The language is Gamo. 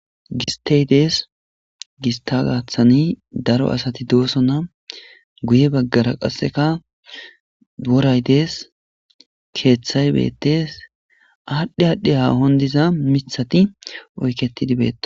gistey dees gista gathani daro asati doosona guye baggara qasseka woray dees keeththay beettes adh adhi hahon diza mithati oyketidi betosona